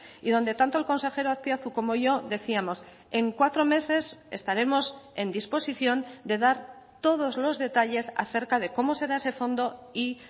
y donde tanto el consejero azpiazu como yo decíamos en cuatro meses estaremos en disposición de dar todos los detalles acerca de cómo será ese fondo y